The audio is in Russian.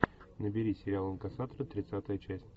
набери сериал инкассаторы тридцатая часть